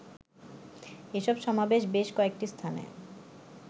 এসব সমাবেশে বেশ কয়েকটি স্থানে